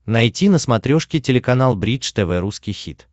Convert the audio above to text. найти на смотрешке телеканал бридж тв русский хит